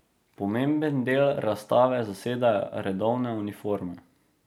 Pomemben del razstave zasedajo redovne uniforme.